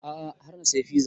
A'a har na saya fiza